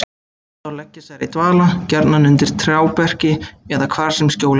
Þá leggjast þær í dvala, gjarnan undir trjáberki eða hvar sem skjól er að finna.